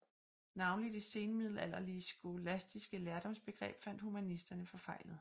Navnlig det senmiddelalderlige skolastiske lærdomsbegreb fandt humanisterne forfejlet